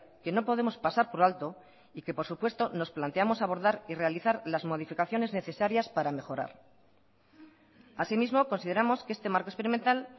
que no podemos pasar por alto y que por supuesto nos planteamos abordar y realizar las modificaciones necesarias para mejorar asimismo consideramos que este marco experimental